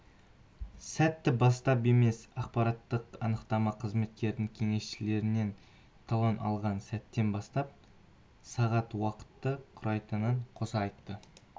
сәттен бастап емес ақпараттық-анықтама қызметінің кеңесшісінен талон алған сәттен бастап сағат уақытты құрайтынын қоса айтты